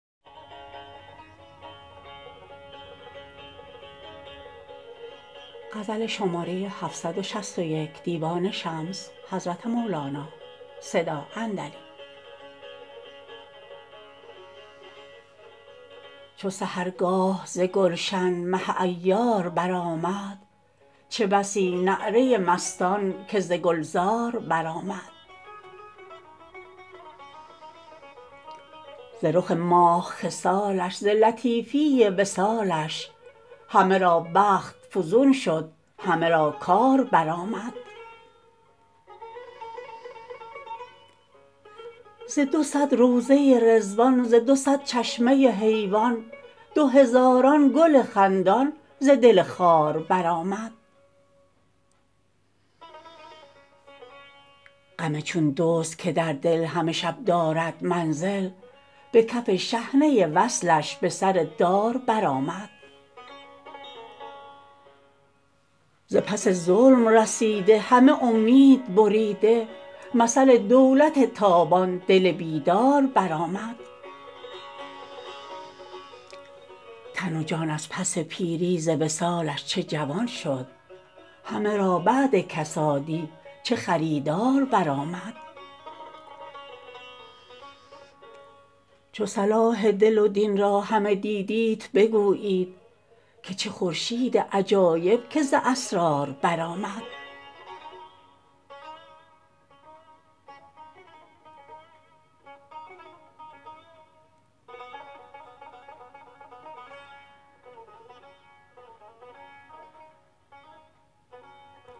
چو سحرگاه ز گلشن مه عیار برآمد چه بسی نعره مستان که ز گلزار برآمد ز رخ ماه خصالش ز لطیفی وصالش همه را بخت فزون شد همه را کار برآمد ز دو صد روضه رضوان ز دو صد چشمه حیوان دو هزاران گل خندان ز دل خار برآمد غم چون دزد که در دل همه شب دارد منزل به کف شحنه وصلش به سر دار برآمد ز پس ظلم رسیده همه امید بریده مثل دولت تابان دل بیدار برآمد تن و جان از پس پیری ز وصالش چه جوان شد همه را بعد کسادی چه خریدار برآمد چو صلاح دل و دین را همه دیدیت بگویید که چه خورشید عجایب که ز اسرار برآمد